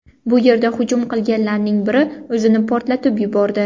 Bu yerda hujum qilganlarning biri o‘zini portlatib yubordi.